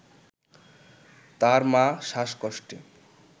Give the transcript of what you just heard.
তার মা শ্বাসকষ্টে